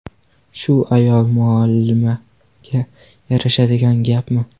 Shu ayol muallimaga yarashadigan gapmi?.